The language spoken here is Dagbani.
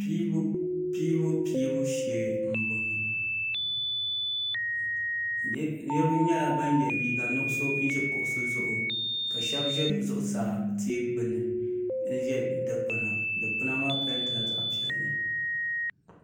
pɛbupɛbu shɛɛ n bɔŋɔ niriba nyɛla ban yɛ liga nuɣisu ʒɛ kuɣisi zuɣ ka shɛbi ʒɛ zuɣ saa ti gbani n ʒɛ dikpana dikpɛna maa pɛntɛla zaɣ piɛli